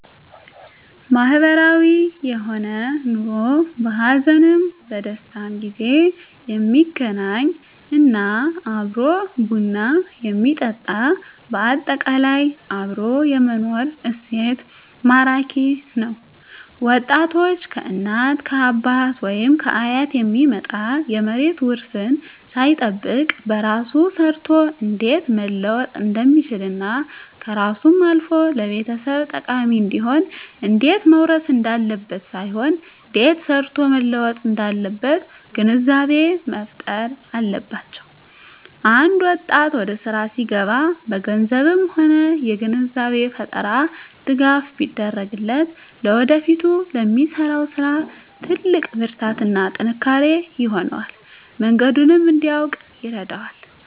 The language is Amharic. ማህበራዊ የሆነ ኑሮ በሀዘንም በደስታም ጊዜ የሚገናኝ እና አብሮ ቡና የሚጠጣ በአጠቃላይ አብሮ የመኖር እሴት ማራኪ ነዉ ወጣቶች ከእናት ከአባት ወይም ከአያት የሚመጣ የመሬት ዉርስን ሳይጠብቅ በራሱ ሰርቶ እንዴት መለወጥ እንደሚችልና ከራሱም አልፎ ለቤተሰብ ጠቃሚ እንዲሆን እንዴት መዉረስ እንዳለበት ሳይሆን እንዴት ሰርቶ መለወጥ እንዳለበት ግንዛቤ መፋጠር አለባቸዉ አንድ ወጣት ወደስራ ሲገባ በገንዘብም ሆነ የግንዛቤ ፈጠራ ድጋፍ ቢደረግለት ለወደፊቱ ለሚሰራዉ ስራ ትልቅ ብርታትና ጥንካሬ ይሆነዋል መንገዱንም እንዲያዉቅ ይረዳዋል